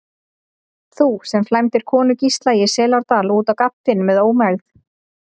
Þú, sem flæmdir konu Gísla í Selárdal út á gaddinn með ómegð.